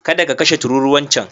Kada ka kashe tururuwar can.